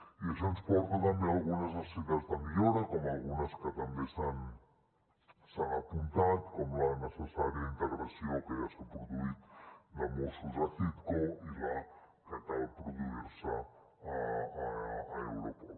i això ens porta també a algunes necessitats de millora com algunes que també s’han apuntat com la necessària integració que ja s’ha produït de mossos a citco i la que cal produir se a europol